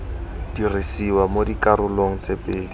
dirisiwa mo dikarolong tse pedi